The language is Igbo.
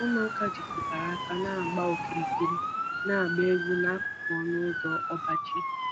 Ụmụaka jikọtara aka na-agba okirikiri, agba egwu n'akụkụ ọnụ ụzọ ọba ji.